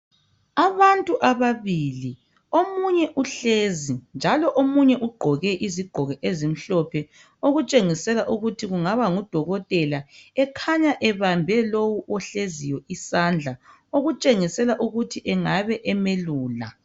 Abantu ababili omunye uhlezi njalo omunye ugqoke izigqoko ezimhlophe okutshengisela ukuthi kungaba ngudokotela ekhanya ebambe lowu ohleziyo isandla okutshengisela ukuthi engabe emelula